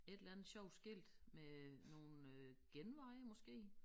Et eller andet sjovt skilt med nogle øh genveje måske